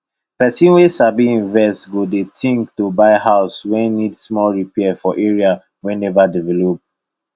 person wey sabi invest go dey think to buy house wey need small repair for area wey never develop